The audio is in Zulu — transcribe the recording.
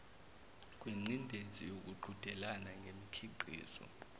kwengcindezi yokuqhudelana ngemikhiqizo